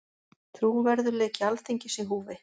Trúverðugleiki Alþingis í húfi